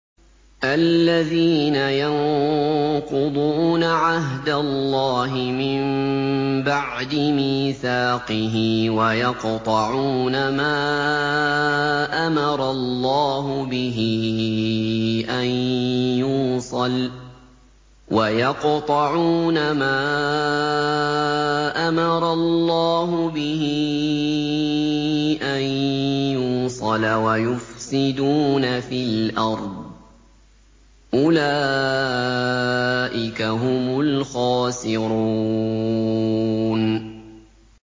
الَّذِينَ يَنقُضُونَ عَهْدَ اللَّهِ مِن بَعْدِ مِيثَاقِهِ وَيَقْطَعُونَ مَا أَمَرَ اللَّهُ بِهِ أَن يُوصَلَ وَيُفْسِدُونَ فِي الْأَرْضِ ۚ أُولَٰئِكَ هُمُ الْخَاسِرُونَ